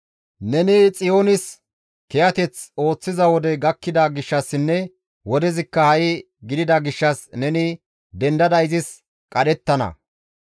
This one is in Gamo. Neni Xiyoonis kiyateth ooththiza wodey gakkida gishshassinne wodezikka ha7i gidida gishshas neni dendada izis qadhettana.